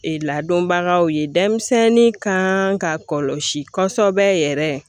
Ee ladonbagaw ye denmisɛnnin kan ka kɔlɔsi kosɛbɛ yɛrɛ